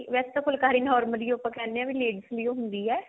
ਵੇਸੇ ਤਾਂ ਫੁਲਕਾਰੀ normally ਆਪਾਂ ਕਿਹਨੇ ਹਾਂ ladies ਲਈ ਹੀ ਹੁੰਦੀ ਹੈ